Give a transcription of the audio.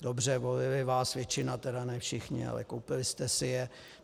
Dobře, volili vás, většina tedy, ne všichni, ale koupili jste si je.